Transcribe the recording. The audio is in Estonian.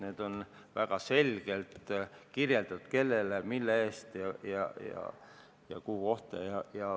Neid on väga selgelt kirjeldatud, kellele, mille eest ja kuhu kohta.